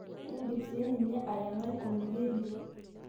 indim sininye ayengai oloirerio.